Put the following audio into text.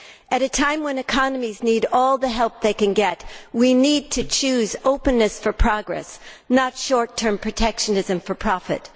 At a time when economies need all the help they can get, we need to choose openness for progress not short term protectionism for profit.